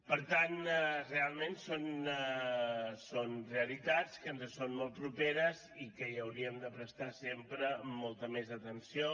per tant realment són realitats que ens són molt properes i que hi hauríem de prestar sempre molta més atenció